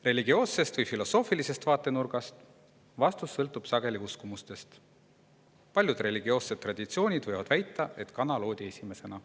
Religioossest või filosoofilisest vaatenurgast vaadatuna sõltub see vastus sageli meie uskumustest: paljud religioossed traditsioonid võivad väita, et kana loodi esimesena.